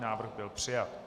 Návrh byl přijat.